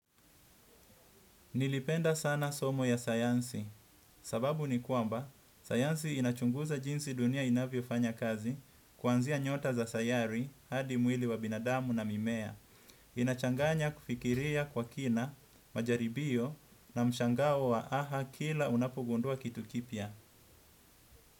Nilipenda sana somo ya sayansi. Sababu ni kwamba, sayansi inachunguza jinsi dunia inavyo fanya kazi kuanzia nyota za sayari hadi mwili wa binadamu na mimea. Inachanganya kufikiria kwa kina, majaribio na mshangao wa haha kila unapogundua kitu kipya.